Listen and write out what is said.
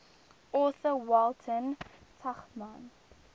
author walter tuchman